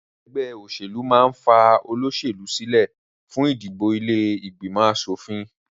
Ẹgbẹ́ òṣèlú máà ń ní fa olóṣèlú sílẹ fún ìdìbò ilé ìgbìmọ̀ aṣòfin